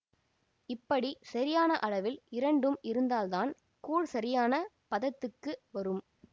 இப்படி சரியான அளவில் இரண்டும் இருந்தால்தான் கூழ் சரியான பதத்துக்கு வரும்